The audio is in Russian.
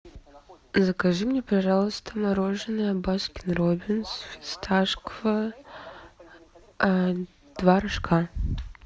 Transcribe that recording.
закажи мне пожалуйста мороженое баскин роббинс фисташковое два рожка